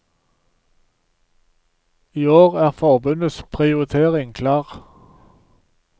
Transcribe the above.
I år er forbundets prioritering klar.